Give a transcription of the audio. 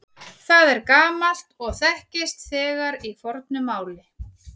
Það er gamalt og þekkist þegar í fornu máli.